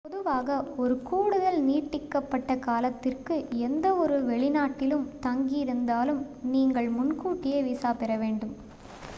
பொதுவாக ஒரு கூடுதல் நீட்டிக்கப்பட்ட காலத்திற்கு எந்தவொரு வெளிநாட்டிலும் தங்கி இருந்தாலும் நீங்கள் முன்கூட்டியே விசா பெற வேண்டும்